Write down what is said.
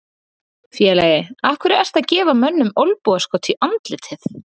Félagi, af hverju ertu að gefa mönnum olnbogaskot í andlitið?